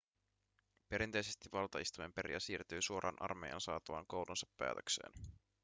perinteisesti valtaistuimen perijä siirtyi suoraan armeijaan saatuaan koulunsa päätökseen